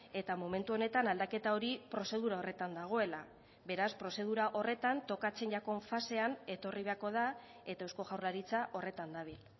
eta momentu honetan aldaketa hori prozedura horretan dagoela beraz prozedura horretan tokatzen zaigun fasean etorri behako da eta eusko jaurlaritza horretan dabil